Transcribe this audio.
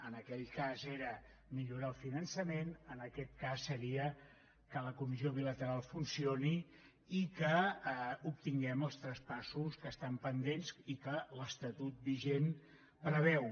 en aquell cas era millorar el finançament en aquest cas seria que la comissió bilateral funcioni i que obtinguem els traspassos que estan pendents i que l’estatut vigent preveu